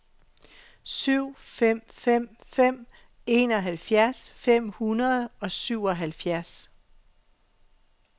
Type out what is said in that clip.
syv fem fem fem enoghalvfjerds fem hundrede og syvoghalvfjerds